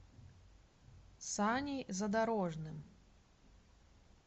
саней задорожным